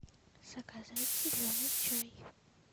заказать зеленый чай